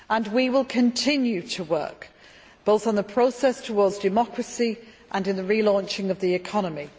We will continue to work both on the process towards democracy and in the relaunch of the economy.